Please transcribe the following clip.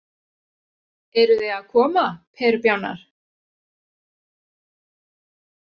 Eruð þið að koma perubjánar.